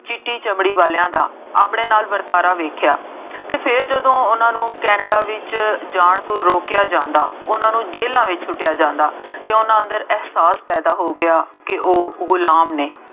ਚਿੱਟੀ ਚਮੜੀ ਵਾਲਿਆਂ ਦਾ ਆਪਣੇ ਨਾਲ ਵਰਤਾਰਾ ਵੇਖਿਆ ਅਤੇ ਫੇਰ ਜਦੋਂ ਉਹਨਾ ਨੂੰ ਕੇਨੈਡਾ ਵਿੱਚ ਜਾਣ ਤੋਂ ਰੋਕਿਆ ਜਾਂਦਾ ਉਹਨਾ ਨੂੰ ਜੇਲ੍ਹਾਂ ਵਿੱਚ ਸੁੱਟਿਆਂ ਜਾਂਦਾ ਅਤੇ ਉਹਨਾ ਅੰਦਰ ਅਹਿਸਾਸ ਪੈਦਾ ਹੋ ਗਿਆ ਕਿ ਉਹ ਗੁਲਾਮ ਨਹੀਂ